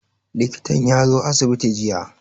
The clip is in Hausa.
Likitan ya zo asibiti jiya.